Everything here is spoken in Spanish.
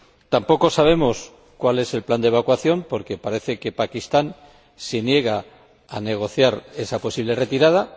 Tampoco sabemos cuál es el plan de evacuación, porque parece que Pakistán se niega a negociar esa posible retirada.